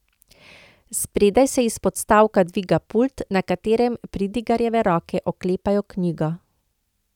Spredaj se iz podstavka dviga pult, na katerem pridigarjeve roke oklepajo knjigo.